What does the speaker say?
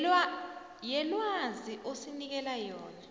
yelwazi osinikela yona